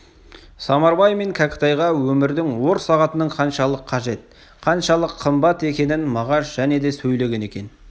самарбай мен кәкітайға өмірдің ор сағатының қаншалық қажет қаншалық қымбат екенін мағаш және де сөйлеген екен